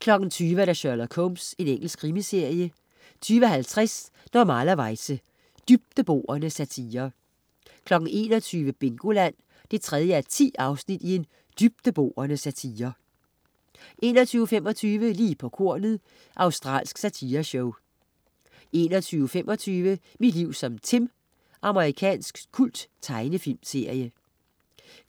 20.00 Sherlock Holmes. Engelsk krimiserie 20.50 Normalerweize. Dybdeborende satire 21.00 Bingoland 3:10 Dybdeborende satire 21.25 Lige på kornet. Australsk satireshow 21.45 Mit liv som Tim. Amerikansk kulttegnefilmsserie